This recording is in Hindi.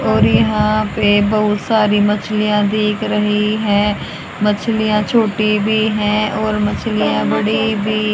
और यहां पे बहुत सारी मछलियां देख रही है मछलियां छोटी भी है और मछलियां बड़ी भी--